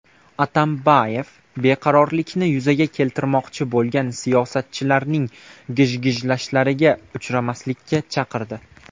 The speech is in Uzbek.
Atambayev beqarorlikni yuzaga keltirmoqchi bo‘lgan siyosatchilarning gijgijlashlariga uchmaslikka chaqirdi.